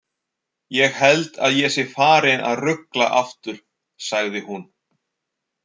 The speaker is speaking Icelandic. Ég held að ég sé farin að rugla aftur, sagði hún.